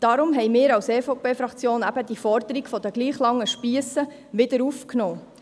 Darum haben wir als EVP-Fraktion diese Forderung der gleich langen Spiesse wieder aufgenommen.